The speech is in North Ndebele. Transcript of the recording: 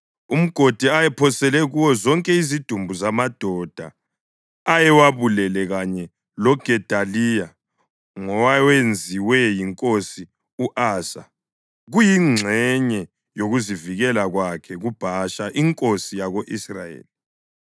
Umgodi ayephosele kuwo zonke izidumbu zamadoda ayewabulele kanye loGedaliya ngowawenziwe yinkosi u-Asa kuyingxenye yokuzivikela kwakhe kuBhasha inkosi yako-Israyeli. U-Ishumayeli indodana kaNethaniya wawugcwalisa ngezidumbu.